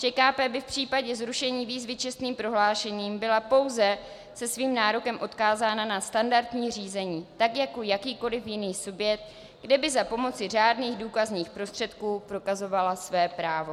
ČKP by v případě zrušení výzvy čestným prohlášením byla pouze se svým nárokem odkázána na standardní řízení tak jako jakýkoliv jiný subjekt, kde by za pomoci řádných důkazních prostředků prokazovala své právo.